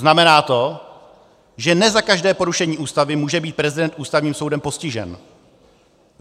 Znamená to, že ne za každé porušení Ústavy může být prezident Ústavním soudem postižen.